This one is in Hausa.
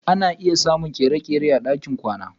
Ana iya samun kere-kere a ɗakin kwana.